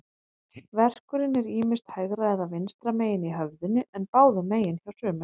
Verkurinn er ýmist hægra eða vinstra megin í höfðinu, en báðum megin hjá sumum.